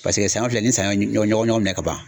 Paseke sanɲɔ filɛ ni sanɲ ye ɲɔgɔn ɲɔgɔn minɛ ka ban.